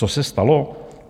Co se stalo?